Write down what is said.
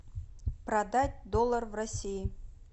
продать доллар в россии